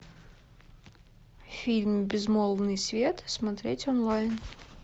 фильм безмолвный свет смотреть онлайн